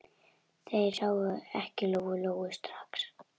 Þær sáu ekki Lóu-Lóu strax.